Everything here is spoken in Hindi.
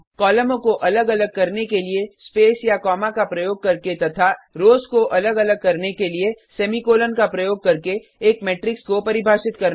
कॉलमों को अलग अलग करने के लिए स्पेस या कॉमा का प्रयोग करके तथा रोज़ को अलग अलग करने के लिए सेमीकोलन का प्रयोग करके एक मेट्रिक्स को परिभाषित करना